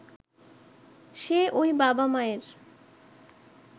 সে ঐ বাবা-মায়ের